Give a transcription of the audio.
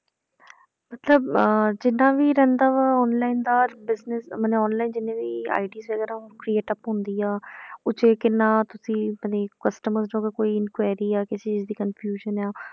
ਮਤਲਬ ਅਹ ਜਿੱਦਾਂ ਵੀ ਰਹਿੰਦਾ ਵਾ online ਦਾ business ਮਨੇ online ਜਿੰਨੇ ਵੀ ID ਵਗ਼ੈਰਾ create ਹੁੰਦੀ ਆ ਉਹ 'ਚ ਕਿੰਨਾ ਤੁਸੀਂ ਆਪਣੇੇ customer ਚੋਂ ਅਗਰ ਕੋਈ inquiry ਜਾਂ ਕਿਸੇ ਚੀਜ਼ ਦੀ confusion ਆਂ,